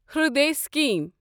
Hriday scheme